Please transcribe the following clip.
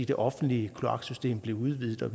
det offentlige kloaksystem blev udvidet